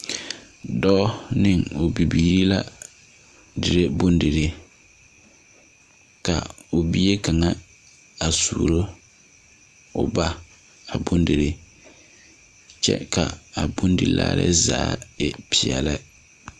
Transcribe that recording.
Doɔ ne ɔ bibiiri la diree bondirii ka ɔ bie kanga a suuro ɔ ba a bondirii kye ka a bondilaare zaa a e peɛle.